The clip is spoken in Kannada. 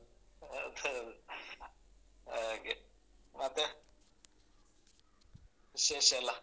ಅದ್ ಹೌದು ಹಾಗೆ ಮತ್ತೆ ವಿಶೇಷ ಎಲ್ಲ?